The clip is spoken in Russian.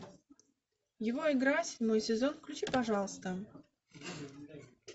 его игра седьмой сезон включи пожалуйста